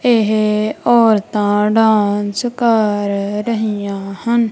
ਇਹ ਔਰਤਾਂ ਡਾਂਸ ਕਰ ਰਹੀਆਂ ਹਨ।